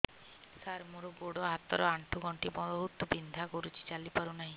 ସାର ମୋର ଗୋଡ ହାତ ର ଆଣ୍ଠୁ ଗଣ୍ଠି ବହୁତ ବିନ୍ଧା କରୁଛି ଚାଲି ପାରୁନାହିଁ